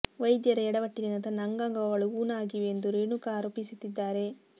ವೈದ್ಯರ ಯಡವಟ್ಟಿನಿಂದ ತನ್ನ ಅಂಗಾಗಗಳು ಊನ ಆಗಿವೆ ಎಂದು ರೇಣುಕಾ ಆರೋಪಿಸುತ್ತಿದ್ದಾರೆ